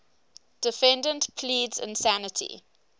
defendant pleads insanity